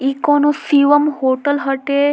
इ कोनो शिवम होटल हटे।